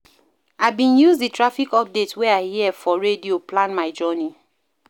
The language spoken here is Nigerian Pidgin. I bin use di traffic updates wey I hear for radio plan my journey.